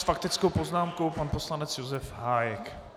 S faktickou poznámkou pan poslanec Josef Hájek.